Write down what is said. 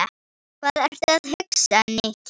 Hvað ertu að hugsa, Nikki?